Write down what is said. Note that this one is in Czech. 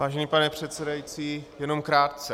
Vážený pane předsedající, jenom krátce.